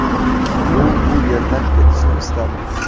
U bu yerdan ketishni istadi.